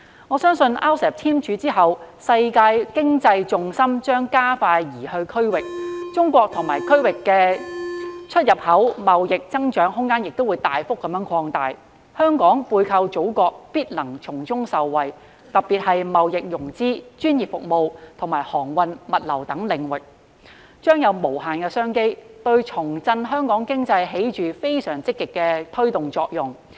我相信在 RCEP 簽署後，世界經濟重心將加快移向區域，中國與區域的出入口貿易增長空間亦會大幅擴大，香港背靠祖國必能從中受惠，特別是貿易融資、專業服務及航運物流等領域將有無限商機，對重振香港經濟起着非常積極的推動作用。